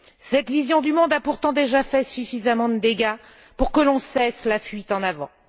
Cette vision du monde a pourtant déjà fait suffisamment de dégâts pour que l'on cesse la fuite en avant.